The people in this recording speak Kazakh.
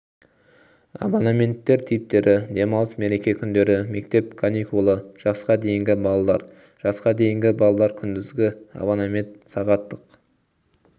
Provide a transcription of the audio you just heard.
абонементтер типтері демалыс мереке күндері мектеп каникулы жасқа дейінгі балалар жасқа дейінгі балалар күндізгі абонемент сағаттық